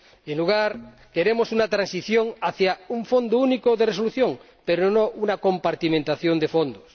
En su lugar, queremos una transición hacia un Fondo Único de Resolución, pero no una compartimentación de fondos.